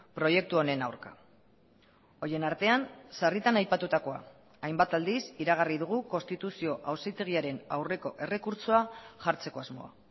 proiektu honen aurka horien artean sarritan aipatutakoa hainbat aldiz iragarri dugu konstituzio auzitegiaren aurreko errekurtsoa jartzeko asmoa